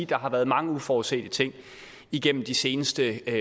der har været mange uforudsete ting igennem de seneste